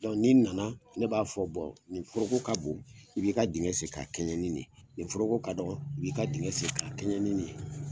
Ni n nana ne b'a fɔ, nin foroko ka bon, i b'i ka dingɛ sen ka kɛɲɛ ni nin ye, nin foroko ka dɔgɔ, i b'i ka dingɛ sen ka kɛɲɛ ni nin ye.